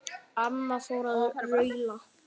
Amma fór að raula.